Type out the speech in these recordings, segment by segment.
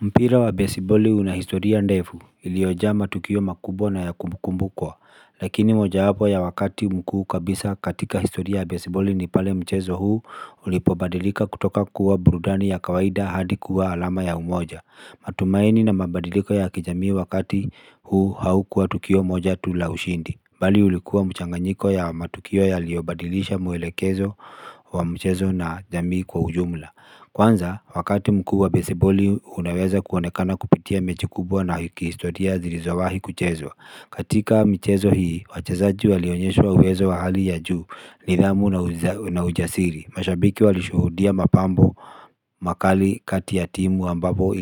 Mpira wa besiboli una historia ndefu iliyojaa matukio makubwa na ya kukumbukwa. Lakini mojawapo ya wakati mkuu kabisa katika historia ya besiboli ni pale mchezo huu ulipobadilika kutoka kuwa burudani ya kawaida hadi kuwa alama ya umoja matumaini na mabadiliko ya kijamii wakati huu haukuwa tukio moja tu la ushindi bali ulikuwa mchanganyiko ya matukio yaliyobadilisha mwelekezo wa mchezo na jamii kwa ujumla. Kwanza, wakati mkubwa besiboli unaweza kuonekana kupitia mechi kubwa na kihistotia zilizowahi kuchezwa. Katika michezo hii, wachezaji walionyesha uwezo wa hali ya juu, nidhamu na na ujasiri. Mashabiki walishuhudia mapambo makali kati ya timu ambapo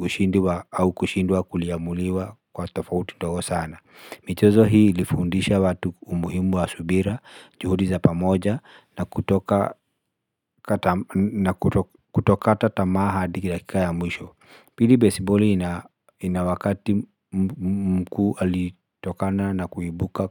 ushindi au kushindwa kuliamuliwa kwa tofauti ndogo sana. Michezo hii ilifundisha watu umuhimu wa subira, juhudi za pamoja na kutoka na kutokata tamaa hadi dakika ya mwisho Pili besiboli ina wakati mkuu alitokana na kuibuka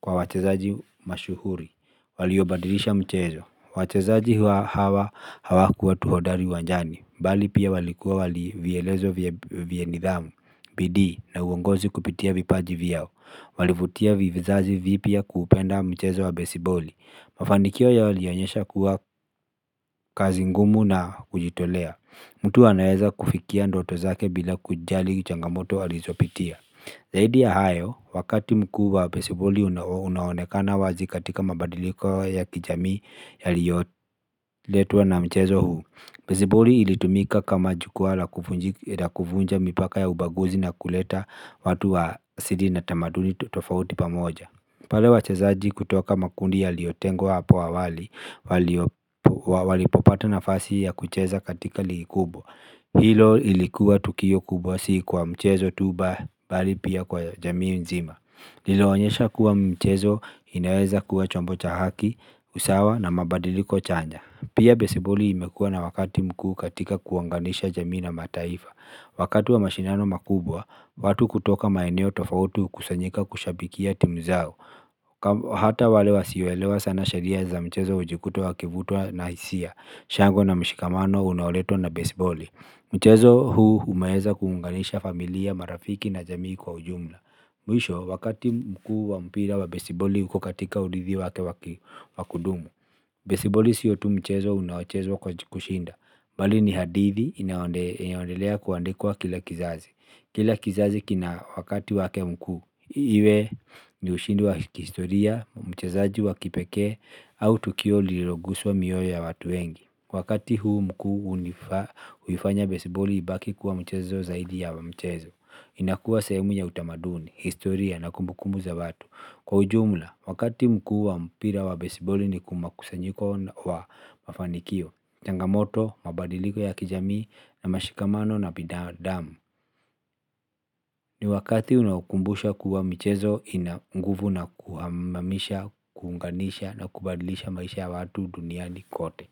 kwa wachezaji mashuhuri waliobadilisha mchezo. Wachezaji hawa hawakuwa tu hodari uwanjani bali pia walikuwa vielezo vya nidhamu, bidii na uongozi kupitia vipaji vyao Walivutia vizazi vipya kuupenda mchezo wa besiboli. Mafanikio yao yalionyesha kuwa kazi ngumu na kujitolea mtu anaweza kufikia ndoto zake bila kujali changamoto alizopitia Zaidi ya hayo, wakati mkuu wa besiboli unaonekana wazi katika mabadiliko ya kijamii yaliyoletwa na mchezo huu. Besiboli ilitumika kama jukwaa la la kuvunja mipaka ya ubaguzi na kuleta watu wa asili na tamaduni tofauti pamoja pale wachezaji kutoka makundi yaliyotengwa hapo awali, walipopata nafasi ya kucheza katika ligi kubwa. Hilo ilikuwa tukio kubwa si kwa mchezo tuba bali pia kwa jamii nzima. Lilionyesha kuwa michezo inaweza kuwa chombo cha haki, usawa na mabadiliko chanya. Pia besiboli imekuwa na wakati mkuu katika kuunganisha jamii na mataifa. Wakati wa mashindano makubwa, watu kutoka maeneo tofauti hukusanyika kushabikia timu zao Hata wale wasioelewa sana sheria za mchezo hujikuta wakivutwa na hisia shangwe na mshikamano unaoletwa na besiboli mchezo huu umeweza kuunganisha familia marafiki na jamii kwa ujumla mwisho wakati mkuu wa mpira wa besiboli uko katika urithi wake wa kudumu besiboli siyo tu mchezo unaochezwa kwa kushinda bali ni hadithi inayondelea kuandikwa kila kizazi kila kizazi kina wakati wake mkuu iwe ni ushindi wa kihistoria mchezaji wa kipekee au tukio lililoguswa mioyo ya watu wengi wakati huu mkuu huifanya besiboli ibaki kuwa mchezo zaidi ya mchezo inakuwa sehemu ya utamaduni historia na kumbukumbu za watu kwa ujumla wakati mkuu wa mpira wa besiboli ni makusanyiko wa mafanikio changamoto mabadiliko ya kijamii na mashikamano na binadamu ni wakati unaokumbusha kuwa michezo ina nguvu na kuhamasisha, kuunganisha na kubadilisha maisha ya watu duniani kote.